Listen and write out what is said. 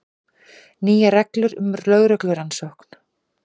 Nýjar reglur um lögreglurannsókn